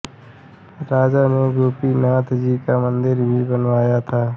राजा ने गोपीनाथ जी का मंदिर भी बनवाया था